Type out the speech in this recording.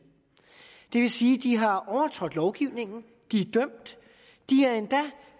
det vil sige at de har overtrådt lovgivningen de